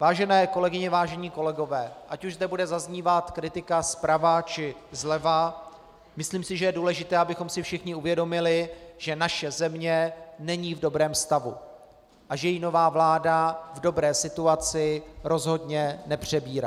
Vážené kolegyně, vážení kolegové, ať už zde bude zaznívat kritika zprava, či zleva, myslím si, že je důležité, abychom si všichni uvědomili, že naše země není v dobrém stavu a že ji nová vláda v dobré situaci rozhodně nepřebírá.